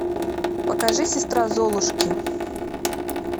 покажи сестра золушки